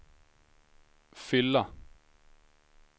fylla